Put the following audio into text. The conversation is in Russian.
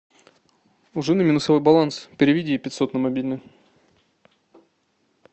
у жены минусовой баланс переведи ей пятьсот на мобильный